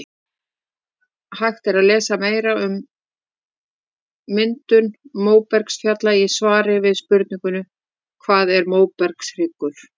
Hægt er að lesa meira um myndun móbergsfjalla í svari við spurningunni Hvað er móbergshryggur?